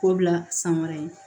K'o bila san wɛrɛ ye